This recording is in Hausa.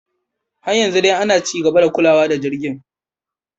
Har yanzu dai ana ci gaba da kulawa da jirgin.